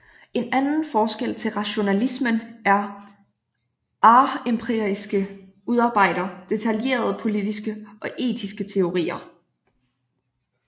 En anden forskel til rationalismen er ar empiristerne udarbejder detaljerede politiske og etiske teorier